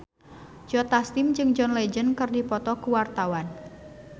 Joe Taslim jeung John Legend keur dipoto ku wartawan